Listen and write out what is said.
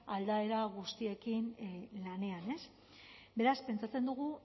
aldaera guztiekin lanean beraz pentsatzen dugu